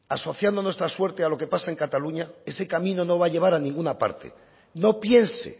asociando nuestra suerte a lo que pase en cataluña ese camino no va a llevar a ninguna parte no piense